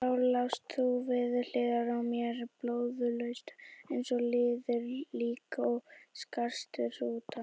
Þá lást þú við hliðina á mér, blóðlaus eins og liðið lík og skarst hrúta.